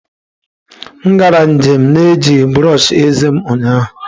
M gara njem na-ejighị brọsh eze m ụnyaahụ.